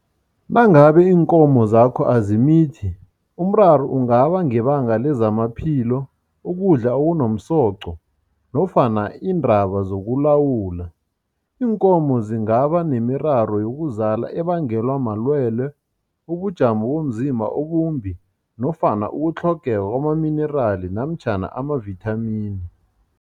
Nangabe iinkomo zakho azimithi, umraro ungaba ngebanga lezamaphilo, ukudla okunomsoqo nofana iindaba zokulawula. Iinkomo zingaba nemiraro yokuzala ebangelwa malwelwe, ubujamo bomzimba obumbi nofana ukutlhogeka kwamaminirali namtjhana amavithamini.